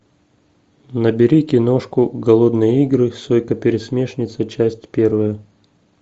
набери киношку голодные игры сойка пересмешница часть первая